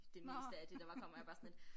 Det meste af det der var kommer jeg bare sådan lidt